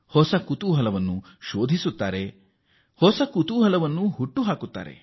ಹೊಸ ಕುತೂಹಲವನ್ನು ಶೋಧನೆಯ ಹಾದಿಯಲ್ಲಿ ಅನ್ವೇಷಿಸುತ್ತಾರೆ